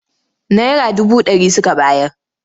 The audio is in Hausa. Naira dubu ɗari suka bayar.